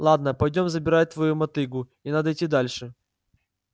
ладно пойдём забирать твою мотыгу и надо идти дальше